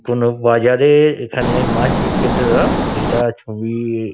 কোন বাজারের এখানে মাছ বিক্রেতারা এটা ছ-ই-বি।